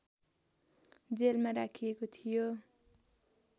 जेलमा राखिएको थियो